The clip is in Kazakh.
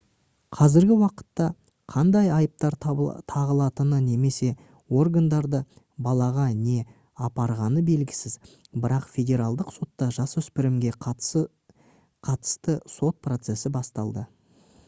қазіргі уақытта қандай айыптар тағылатыны немесе органдарды балаға не апарғаны белгісіз бірақ федералдық сотта жасөспірімге қатысты сот процесі басталды